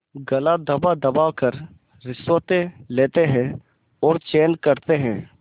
गला दबादबा कर रिश्वतें लेते हैं और चैन करते हैं